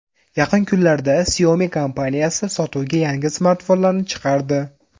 Yaqin kunlarda Xiaomi kompaniyasi sotuvga yangi smartfonlarni chiqardi.